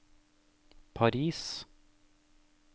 Paris